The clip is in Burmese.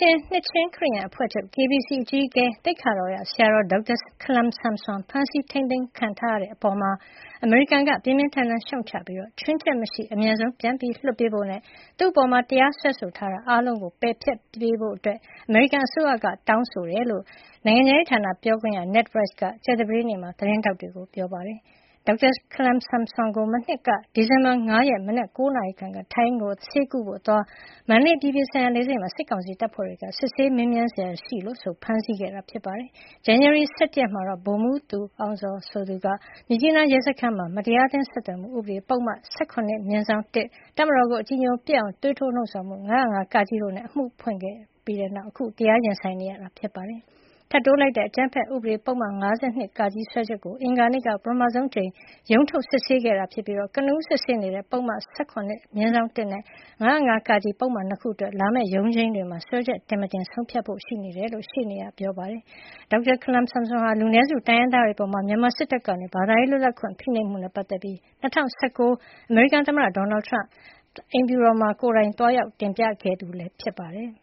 ျင် နှစ်ခြင်းခရစ်ယာန်အဖွဲ့ချုပ် KBC အကြီးအကဲ သိက္ခာတော်ရဆရာတော် ဒေါက်တာ ခလမ်ဆမ်ဆွန် ဖမ်းဆီး ထိန်းသိမ်းခံထားရတဲ့အပေါ် အမေရိကန်က ပြင်းပြင်းထန်ထန်ရှုတ်ချပြီး ချွင်းချက်မရှိ အမြန်ဆုံး ပြန်လွှတ်ပေးဖို့နဲ့ သူ့အပေါ် တရားစွဲဆိုထားတာ အားလုံးကို ပယ်ဖျက်ပေးဖို့ အမေရိကန်အစိုးရက တောင်းဆိုတယ်လို့ နိုင်ငံခြားရေးဌာန ပြောခွင့်ရ Ned Price က ကြာသပတေးနေ့မှာ သတင်းထောက်တွေကို ပြောပါတယ်။ ထိုင်းနိုင်ငံကို ဆေးသွားကုဖို့အသွား ဒေါက်တာ ခလမ်ဆမ်ဆွန်ကို မနှစ် ဒီဇင်ဘာ ၅ ရက် မနက် ၉ နာရီခန့်က စစ်ဆေး မေးမြန်း စရာရှိလို့ဆိုပြီး စစ်ကောင်စီ တပ်ဖွဲ့ဝင်တွေ မန္တလေးအပြည်ပြည်ဆိုင်ရာလေဆိပ်မှာ ဖမ်းဆီးခဲ့တာပါ။ ဇန်နဝါရီ ၁၁ ရက် မှာတော့ ဗိုလ်မှူးသူအောင်ဇော် ဆိုသူ က မြစ်ကြီးနားရဲစခန်းမှာ မတရားအသင်း ဆက်သွယ်မှုဥပဒေပုဒ်မ ၁၇/၁၊ တပ်မတော်ကိုအကြည်ညို ပျက်အောင် သွေးထိုး လှုံ ဆော်မှု ၅၀၅-ကတို့နဲ့ အမှုဖွင့်ခဲ့တဲ့နောက် အခု တရား ရင်ဆိုင်နေရတာဖြစ်ပါတယ်။ ထပ်တိုးလိုက်တဲ့ အကြမ်းဖက်မှု ဥပဒေပုဒ်မ ၅၂(က)စွဲချက်ကိုတော့ အင်္ဂါန့က ပထမဆုံးအကြိမ် ရုံးထုတ်စစ်ဆေးခဲ့တာဖြစ်ပြီး ကနဦးစစ်ဆေးနေတဲ့ ပုဒ်မ ၁၇/၁နဲ့ ပုဒ်မ ၅၀၅-က ပုဒ်မနှစ်ခုအတွက် လာမယ့်ရုံးချိန်းမှာ စွဲချက်တင်-မတင် ဆုံးဖြတ်ဖို့ ရှိနေတယ်လို့ ရှေ့နေဖြစ်သူက ပြောပါတယ်။ ဒေါက်တာ ခလမ်ဆမ်ဆွန်ဟာ လူနည်းစုတိုင်းရင်းသားတွေအပေါ် မြန်မာစစ်တပ်က ဘာသာရေး လွတ်လပ်ခွင့် ဖိနှိပ်မှုနဲ့ ပတ်သက်ပြီး ၂၀၁၉ ခုနှစ်က အမေရိကန်သမ္မတ ဒေါ်နယ်ထရမ့်ကို အမေရိကန်ပြည်ထောင်စုအိမ်ဖြူတော်မှာ ကိုယ်တိုင်သွားရောက် တင်ပြခဲ့သူလည်းဖြစ်ပါတယ်။